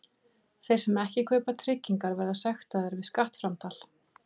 Þeir sem ekki kaupa tryggingar verða sektaðir við skattframtal.